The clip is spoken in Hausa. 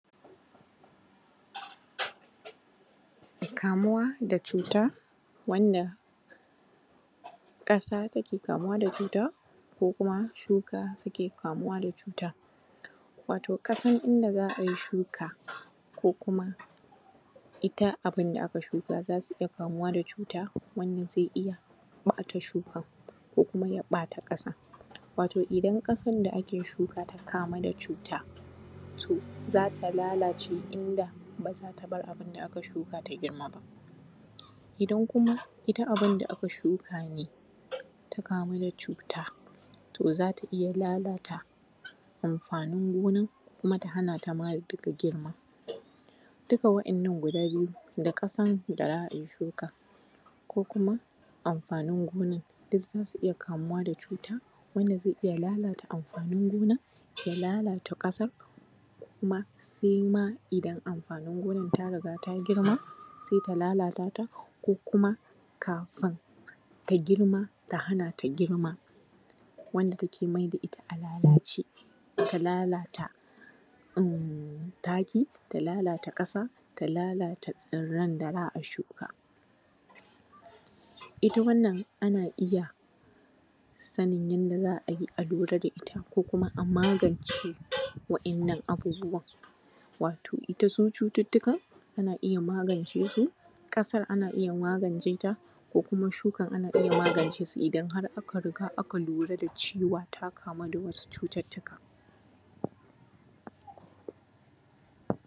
Kamuwa da cuta wannan ƙasa take kamuwa da cuta ko kuma shuka suke kamuwa da cuta. Wato ƙasan inda za a yi shuka, ko kuma ita abin da aka shuka, za su iya kamuwa da cuta wanda zai iya ɓata shukan ko kuma ya ɓata ƙasan. Wato idan ƙasan da ake shuka ta kamu da cuta, to za ta lalace, inda ba za ta bar abin da aka shuka ta girma ba. Idan kuma ita abin da aka shuka ne ta kamu da cuta, to za ta iya lalata amfanin gonan kuma ta hana ta ma duka girma. Duka waɗannan guda biyun, da ƙasan da za a yi shukan, ko kuma amfanin gonan duk za su iya kamuwa da cuta, wanda zai iya lalata amfanin gonan, ya lalata ƙasar, ko kuma sai ma idan amfanin gonan ta riga ta girma, sai ta lalata ta, ko kuma kfin ta girma, ta hana ta girma, wanda take mai da ita a lalace, ta lalata taki, ta lalata ƙasa, ta lalata tsirran da za a shuka. Ita wannan ana iya sanin yadda za a yi a lura da ita ko kuma a magance waɗannan abubuwan, wato ita su cututtukan ana iya magance su, ƙasar ana iya magance ta, ko kuma shukan ana iya magance su idan har aka riga aka lura da cewa ta kamu da wasu cututtuka.